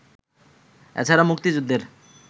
এছাড়া মুক্তিযুদ্ধের